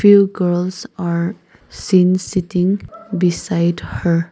few girls are seen sitting beside her.